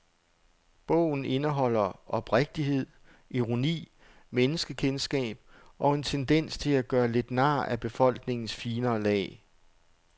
Bogen indeholder oprigtighed, ironi, menneskekendskab og en tendens til at gøre lidt nar af befolkningens finere lag.